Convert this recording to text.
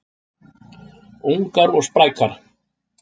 Ungar og sprækar